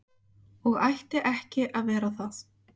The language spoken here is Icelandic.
Og ætti ekki að vera það.